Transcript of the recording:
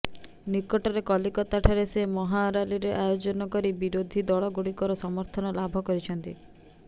ନିକଟରେ କଲିକତାଠାରେ ସେ ମହାରାଲିର ଆୟୋଜନ କରି ବିରୋଧୀ ଦଳଗୁଡିକର ସମର୍ଥନ ଲାଭ କରିଛନ୍ତି